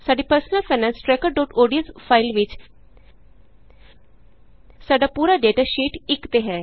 ਸਾਡੀ Personal Finance Trackerodsਫਾਇਲ ਵਿਚ ਸਾਡਾ ਪੂਰਾ ਡੇਟਾ ਸ਼ੀਟ 1ਤੇ ਹੈ